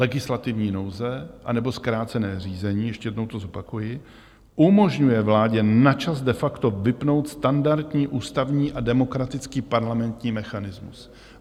Legislativní nouze, anebo zkrácené řízení, ještě jednou to zopakuji, umožňuje vládě na čas de facto vypnout standardní ústavní a demokratický parlamentní mechanismus.